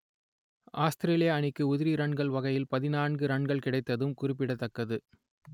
Australia அணிக்கு உதிரி ரன்கள் வகையில் பதினான்கு ரன்கள் கிடைத்ததும் குறிப்பிடத்தக்கது